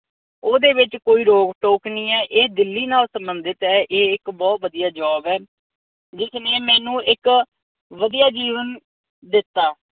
ਓਹਦੇ ਵਿਚ ਕੋਈ ਰੋਕ ਟੋਕ ਨੀ ਐ। ਇਹ ਦਿੱਲੀ ਨਾਲ ਸੰਬੰਧਿਤ ਐ। ਇਹ ਇੱਕ ਬਹੁਤ ਵਧੀਆ job ਐ। ਜਿਸਨੇ ਮੈਨੂੰ ਇੱਕ ਵਧੀਆ ਜੀਵਨ ਦਿੱਤਾ।